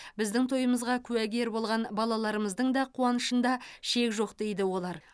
біздің тойымызға куәгер болған балаларымыздың да қуанышында шек жоқ дейді олар